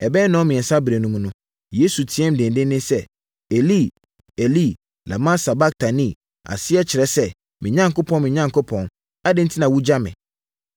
Ɛbɛyɛ nnɔnmiɛnsa berɛ mu no, Yesu teaam denden sɛ, “Eli, Eli, lama sabaktani?” Aseɛ kyerɛ sɛ, “Me Onyankopɔn, me Onyankopɔn, adɛn enti na woagya me?”